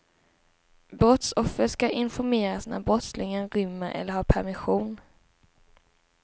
Brottsoffer ska informeras när brottslingen rymmer eller har permission.